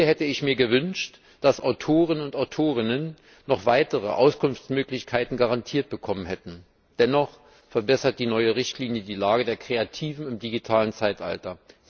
Hier hätte ich mir gewünscht, dass Autoren und Autorinnen noch weitere Auskunftsmöglichkeiten garantiert bekommen hätten. Dennoch verbessert die neue Richtlinie die Lage der Kreativen im digitalen Zeitalter.